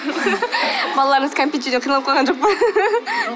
балаларыңыз кәмпит жеуден қиналып қалған жоқ па